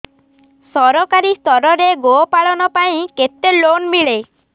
ସରକାରୀ ସ୍ତରରେ ଗୋ ପାଳନ ପାଇଁ କେତେ ଲୋନ୍ ମିଳେ